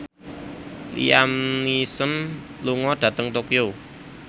Liam Neeson lunga dhateng Tokyo